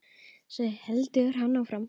Svo heldur hann áfram